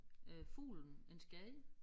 Øh fuglen en skade